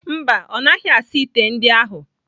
Mba, ọ naghị asa ite ndị ahụ.